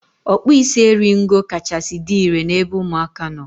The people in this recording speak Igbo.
Ọkpụisieringo kachasị dị irè n'ebe ụmụaka nọ.